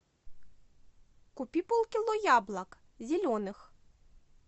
купи полкило яблок зеленых